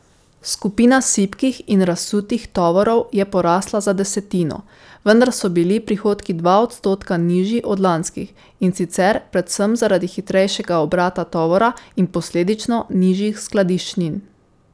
Skupina sipkih in razsutih tovorov je porasla za desetino, vendar so bili prihodki dva odstotka nižji od lanskih, in sicer predvsem zaradi hitrejšega obrata tovora in posledično nižjih skladiščnin.